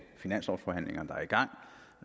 finanslovsforhandlingerne der er i gang